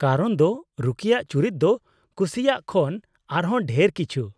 ᱠᱟᱨᱚᱱ ᱫᱚ ᱨᱚᱠᱤᱭᱟᱜ ᱪᱩᱨᱤᱛ ᱫᱚ ᱠᱩᱥᱤᱭᱟᱜ ᱠᱷᱚᱱ ᱟᱨᱦᱚᱸ ᱰᱷᱮᱨ ᱠᱤᱪᱷᱩ ᱾